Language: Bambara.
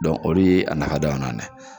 olu ye a fana